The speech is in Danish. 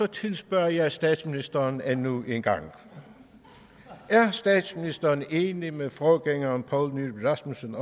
tilspørger jeg statsministeren endnu en gang er statsministeren enig med forgængeren poul nyrup rasmussen